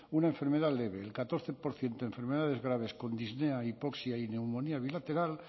una enfermedad leve el catorce por ciento enfermedades graves con disnea hipoxia y neumonía bilateral